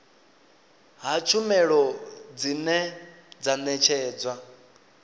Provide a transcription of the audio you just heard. ha tshumelo dzine dza ṋetshedzwa